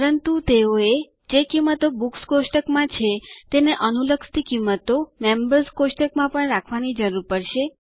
પરંતુ તેઓ એ જે કિંમતો બુક્સ કોષ્ટકમાં છે તેને અનુલક્ષતી કિંમત મેમ્બર્સ કોષ્ટકમાં પણ રાખવાની જરૂર પડશે